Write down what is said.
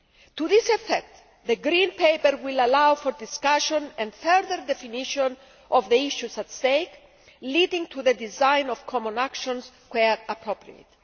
To that effect, the Green Paper will allow for discussion and further definition of the issues at stake, leading to the design of common actions, where appropriate.